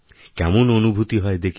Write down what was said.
কেমন অনুভূতি হয় দেখি